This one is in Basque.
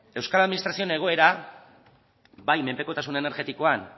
euskal administrazioen egoera bai menpekotasun energetikoan